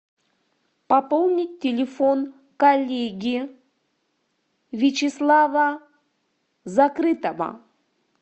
пополнить телефон коллеги вячеслава закрытого